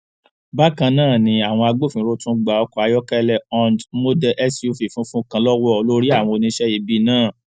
bákan náà ni àwọn agbófinró tún gba ọkọ ayọkẹlẹ hond model suv funfun kan lọwọ olórí àwọn oníṣẹ ibi náà